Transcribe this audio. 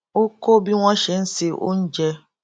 ó kó bí wón ṣe ń se oúnjẹ